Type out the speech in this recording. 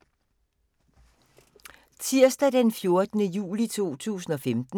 Tirsdag d. 14. juli 2015